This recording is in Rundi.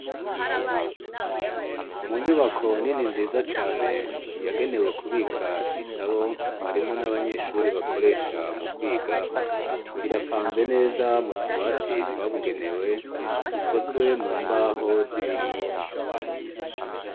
Mu nyubako nini nziza cane yagenewe kubika ibitabo mwarimu n'abanyeshuri bakoresha mu kwiga birapanze neza mu tubati twabugenewe dukozwe mu mbaho z'ibiti.